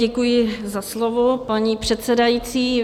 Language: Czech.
Děkuji za slovo, paní předsedající.